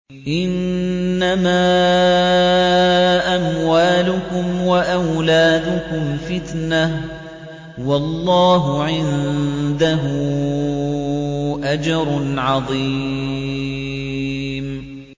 إِنَّمَا أَمْوَالُكُمْ وَأَوْلَادُكُمْ فِتْنَةٌ ۚ وَاللَّهُ عِندَهُ أَجْرٌ عَظِيمٌ